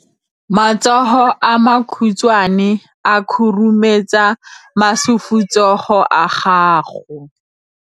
matsogo a makhutshwane a khurumetsa masufutsogo a gago